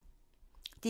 DR1